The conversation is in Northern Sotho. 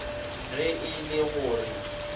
ge e le go re